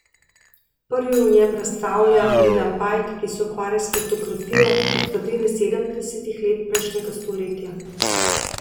Prvi v njem razstavlja Milan Pajk, ki se ukvarja s fotografijo od sredine sedemdesetih let prejšnjega stoletja.